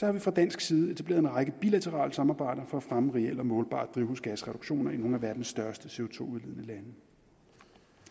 har vi fra dansk side etableret en række bilaterale samarbejder for at fremme reelle og målbare drivhusgasreduktioner i nogle af verdens største to tusind